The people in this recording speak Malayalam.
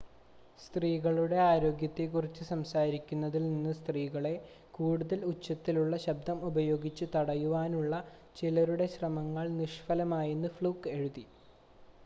സ്ത്രീകളുടെ ആരോഗ്യത്തെ കുറിച്ച് സംസാരിക്കുന്നതിൽ നിന്ന് സ്ത്രീകളെ കൂടുതൽ ഉച്ചത്തിലുള്ള ശബ്‌ദം ഉപയോഗിച്ച് തടയുവാനുള്ള ചിലരുടെ ശ്രമങ്ങൾ നിഷ്‌ഫലമായിയെന്ന് ഫ്ലൂക്ക് എഴുതി